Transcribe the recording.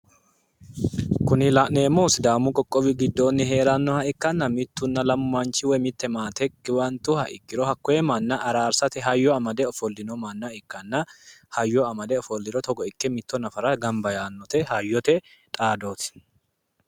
Kuni la'neemmohu sidaamu qoqqowi giddo heeranoha ikkanna mitunna lamu manchi, maate giwantuha ikkiro hate hayyo araarsate amade ofolino manna ikkanna, hayyo amadiro mitto nadara togo ikke hayyote xaadoti.